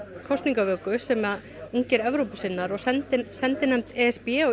kosningavöku sem ungir Evrópusinnar og sendinefnd sendinefnd e s b